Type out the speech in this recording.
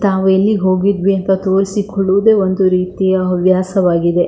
ತಾವು ಎಲ್ಲಿಗೆ ಹೋಗಿದ್ವಿ ಅಂತ ತೋರಿಸಿಕೊಳ್ಳುವುದು ಒಂದು ರೀತಿಯ ಹವ್ಯಾಸವಾಗಿದೆ.